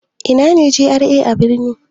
Ina ne GRA a birni?